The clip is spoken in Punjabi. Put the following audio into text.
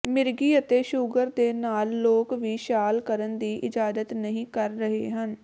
ਮਿਰਗੀ ਅਤੇ ਸ਼ੂਗਰ ਦੇ ਨਾਲ ਲੋਕ ਵੀ ਛਾਲ ਕਰਨ ਦੀ ਇਜਾਜ਼ਤ ਨਹੀ ਕਰ ਰਹੇ ਹਨ